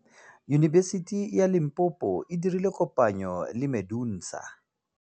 Yunibesiti ya Limpopo e dirile kopanyô le MEDUNSA.